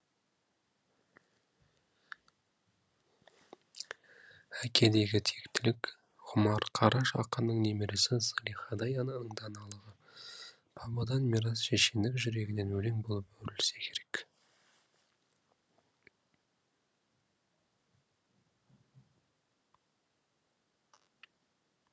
әкедегі тектілік ғұмар қараш ақынның немересі зылихадай ананың даналығы бабадан мирас шешендік жүрегінен өлең болып өрілсе керек